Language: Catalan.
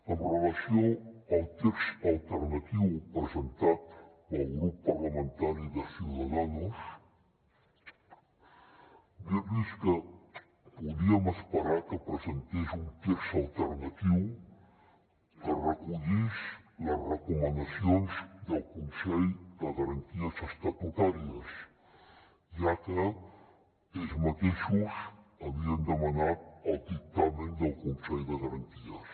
amb relació al text alternatiu presentat pel grup parlamentari de ciudadanos dir los que podíem esperar que presentés un text alternatiu que recollís les recomanacions del consell de garanties estatutàries ja que ells mateixos havien demanat el dictamen del consell de garanties